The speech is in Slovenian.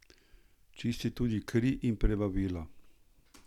Čisti tudi kri in prebavila.